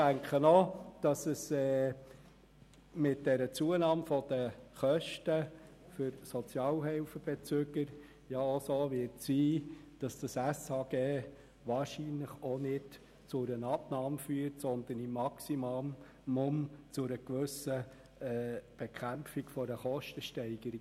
Ich denke ausserdem, dass es mit der Zunahme der Kosten für die Sozialhilfebeziehenden auch so sein wird, dass das SHG wahrscheinlich nicht zu einer Abnahme führt, sondern maximal zu einer gewissen Bekämpfung der Kostensteigerung.